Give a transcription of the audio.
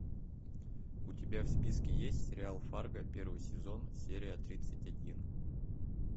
у тебя в списке есть сериал фарго первый сезон серия тридцать один